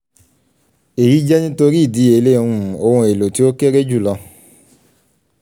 eyi jẹ nitori idiyele um oun elo ti o kere julọ